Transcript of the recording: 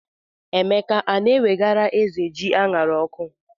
Emeka a na-ewegara ézè ji a ṅara n'ọkụ?